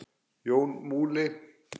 Jón Múli